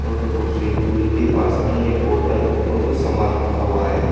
और वो swimming pool के पास में ही एक बॉटल और कुछ सामान रखा हुआ है।